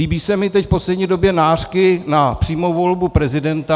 Líbí se mi teď v poslední době nářky na přímou volbu prezidenta.